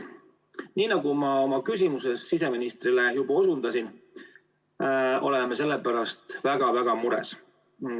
Nii nagu ma oma küsimuses siseministrile juba osundasin, oleme selle pärast väga-väga mures.